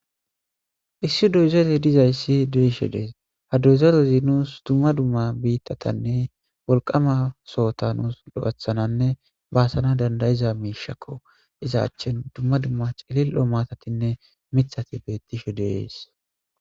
issi doyzele dizayssi de'ishe dees, ha doyzorezi nuus dumma dumma biittatanne wolqama sohota nuus lo'ethananne baasana dandayiza miishakko iza achchen dumma dumma cilil'o matatinne mithati beettishe de'es.